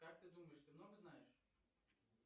как ты думаешь ты много знаешь